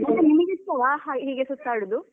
ಮತ್ತೆ ನಿಮಗೆಷ್ಟು ಇಷ್ಟವಾ ಹೀಗೆ ಸುತ್ತಾಡುದು?